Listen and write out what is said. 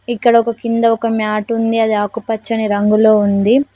ఇక్కడ ఒక కింద ఒక మ్యాటుంది అది ఆకుపచ్చని రంగులో ఉంది.